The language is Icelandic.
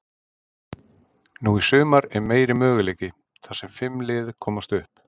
Nú í sumar er meiri möguleiki, þar sem fimm lið komast upp.